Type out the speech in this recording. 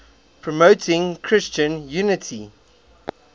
promoting christian unity